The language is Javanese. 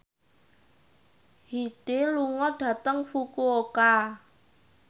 Hyde lunga dhateng Fukuoka